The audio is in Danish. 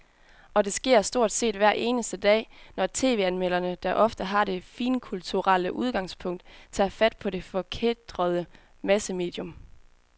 Og det sker stort set hver eneste dag, når tv-anmelderne, der ofte har det finkulturelle udgangspunkt, tager fat på det forkætrede massemedium.